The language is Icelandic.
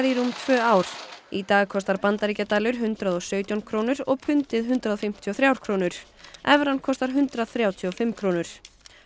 í rúm tvö ár í dag kostar bandaríkjadalur hundrað og sautján krónur og pundið hundrað fimmtíu og þrjár krónur evran kostar hundrað þrjátíu og fimm krónur